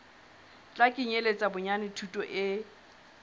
tla kenyeletsa bonyane thuto e